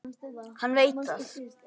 Hann veit það.